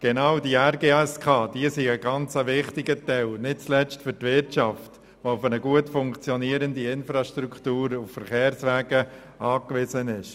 Genau diese RGSK sind ganz wichtige Elemente, nicht zuletzt für die Wirtschaft, die auf gut funktionierende Infrastrukturen und Verkehrswege angewiesen ist.